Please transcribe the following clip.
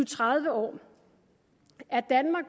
tredive år er danmark